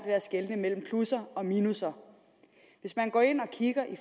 at skelne mellem plusser og minusser hvis man går ind og kigger i